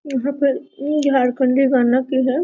यहां पर इ झारखंडी गाना की है।